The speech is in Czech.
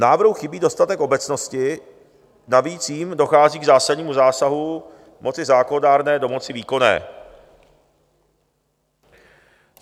Návrhu chybí dostatek obecnosti, navíc jím dochází k zásadnímu zásahu moci zákonodárné do moci výkonné.